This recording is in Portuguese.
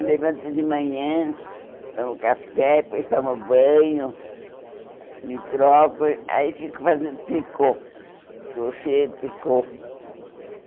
Eu levanto de manhã, tomo café, depois tomo banho, me troco, aí fico fazendo tricô, crochê, tricô.